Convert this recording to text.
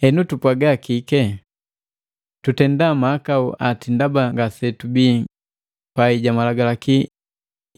Henu, tupwaga kike? Tutendaa mahakau ati ndaba ngasetubi pai ja malagalaki